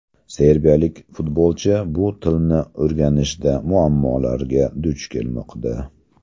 Serbiyalik futbolchi bu tilni o‘rganishda muammolarga duch kelmoqda.